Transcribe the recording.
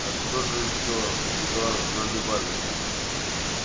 а что же ещё туда наливали